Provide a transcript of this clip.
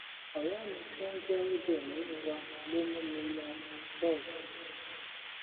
ọrẹ mi tó ń jẹ oj nínú wa ló mú mi mọ gbog